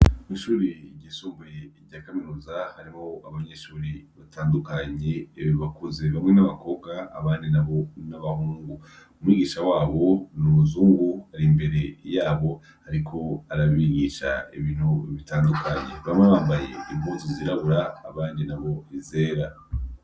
Ishure ryisumbuye rya kaminuza harimwo abanyeshure batandukanye bakuze bamwe nabakobwa abandi nabo nabahungu umwigisha wabo numuzungu imbere yabo ariko arabigisha ibintu bitandukanye bamwe bambaye impuzu zirabura abandi bambaye izera